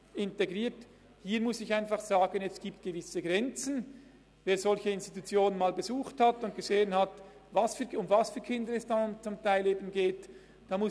Es ist die heilpädagogische Sonderklasse der Stadt Bern, passend zum Traktandum.